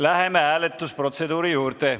Läheme hääletusprotseduuri juurde.